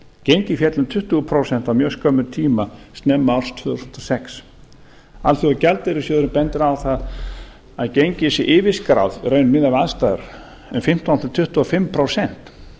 gengið féll um tuttugu prósent á mjög skömmum tíma snemma árs tvö þúsund og sex alþjóðagjaldeyrissjóðurinn bendir á að gengið sé yfirskráð í raun miðað við aðstæður um fimmtán til tuttugu og fimm prósent